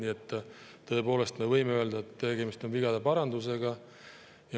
Nii et me tõepoolest võime öelda, et tegemist on vigade parandusega.